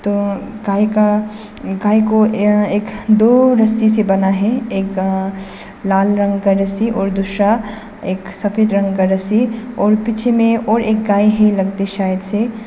अ गाय का गाय को अ एक दो रस्सी से बान्हा है एक अ लाल रंग का रस्सी और दूसरा एक सफेद रंग का रस्सी और पीछे में और एक गाय है लगते शायद से--